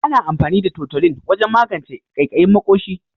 Ana amfani da tutolin wajen magance kaikayin maƙoshi.